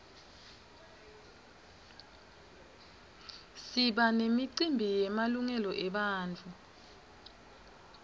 siba nemicimbi yemalungelo ebantfu